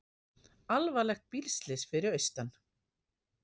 Alvarlegt bílslys fyrir austan